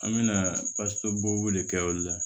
An me na de kɛ olu la